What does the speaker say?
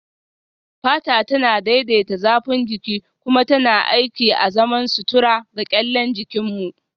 Fata tana daidaita zafin jiki kuma tana aiki azaman sutura ga kyallen jikin mu